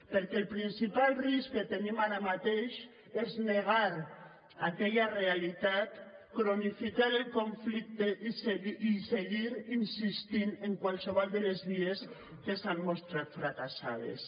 perquè el principal risc que tenim ara mateix és negar aquella realitat cronificar el conflicte i seguir insistint en qualsevol de les vies que s’han mostrat fracassades